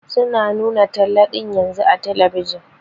Su na nuna talla ɗin yanzun a telebijin.